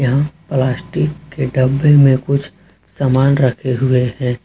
यहां प्लास्टिक के डब्बे में कुछ सामान रखे हुए हैं।